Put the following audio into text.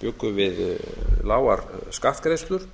bjuggu við lágar skattgreiðslur